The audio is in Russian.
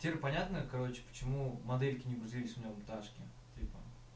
тем понятно короче почему модельки не грузились у меня у наташки в телефоне